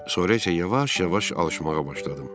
Sonra isə yavaş-yavaş alışmağa başladım.